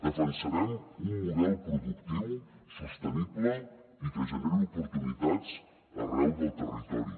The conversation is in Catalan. defensarem un model productiu sostenible i que generi oportunitats arreu del territori